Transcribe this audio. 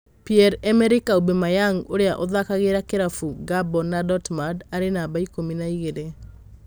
Pierre-Emerick Aubameyang ũria ũthakagira kĩravũkĩa Gabon na Dortmund arĩ namba ikũmi na igĩrĩ